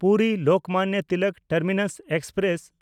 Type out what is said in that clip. ᱯᱩᱨᱤ-ᱞᱳᱠᱢᱟᱱᱱᱚ Tilak terminus express